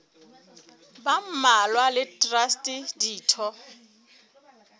ba mmalwa le traste ditho